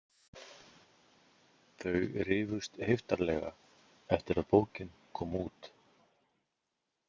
Þau rifust heiftarlega eftir að bókin kom út.